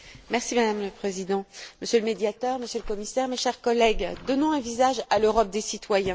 Madame la Présidente, Monsieur le Médiateur, Monsieur le Commissaire, chers collègues, donnons un visage à l'Europe des citoyens.